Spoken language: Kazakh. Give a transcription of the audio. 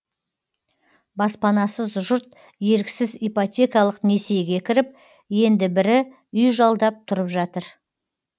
баспанасыз жұрт еріксіз ипотекалық несиеге кіріп енді бірі үй жалдап тұрып жатыр